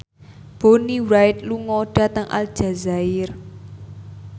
Bonnie Wright lunga dhateng Aljazair